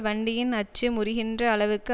வண்டியின் அச்சு முறிகின்ற அளவுக்கு